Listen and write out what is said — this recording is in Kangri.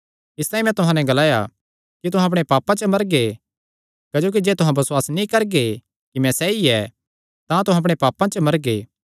इसतांई मैं तुहां नैं ग्लाया कि तुहां अपणे पापां च मरगे क्जोकि जे तुहां बसुआस नीं करगे कि मैं सैई ऐ तां तुहां अपणे पापां च मरगे